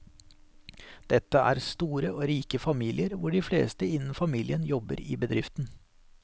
Dette er store og rike familier hvor de fleste innen familien jobber i bedriften.